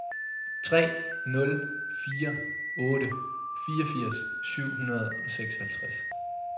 tre nul fire otte fireogfirs syv hundrede og seksoghalvtreds